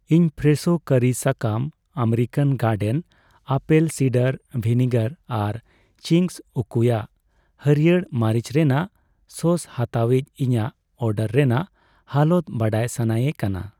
ᱤᱧ ᱯᱷᱨᱮᱥᱷᱳ ᱠᱟᱹᱨᱤ ᱥᱟᱠᱟᱢ, American garden apple cider vinegar ᱟᱨ ᱪᱤᱝᱜᱥ ᱩᱠᱩᱭᱟᱜ ᱦᱟᱹᱲᱭᱟᱹᱨ ᱢᱟᱹᱨᱤᱪ ᱨᱮᱱᱟᱜ ᱥᱚᱥ ᱦᱟᱛᱟᱣᱤᱡᱽ ᱤᱧᱟᱜ ᱚᱰᱟᱨ ᱨᱮᱱᱟᱜ ᱦᱟᱞᱚᱛ ᱵᱟᱰᱟᱭ ᱥᱟᱱᱟᱭᱮ ᱠᱟᱱᱟ ᱾